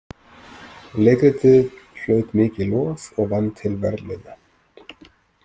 Leikritið hlaut mikið lof og vann til verðlauna.